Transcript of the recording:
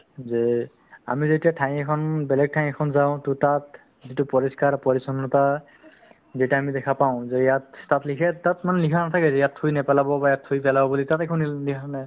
যে আমি যেতিয়া ঠাই এখন বেলেগ ঠাই এখন যাওঁ to তাত যিটো পৰিষ্কাৰ পৰিচন্নতা যেতিয়া আমি দেখা পাওঁ যে ইয়াত তাত লিখে তাত মানে লিখা নাথাকে যে তাত থুই নেপেলাব বা ইয়াত থুই পেলাব বুলি তাত একো নি লিখা নাই